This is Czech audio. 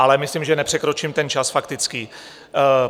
Ale myslím, že nepřekročím ten čas faktických.